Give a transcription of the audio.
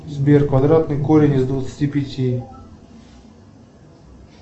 сбер квадратный корень из двадцати пяти